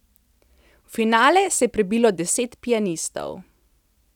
V finale se je prebilo deset pianistov.